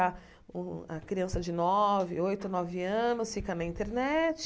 A o a criança de nove, oito, nove anos, fica na internet.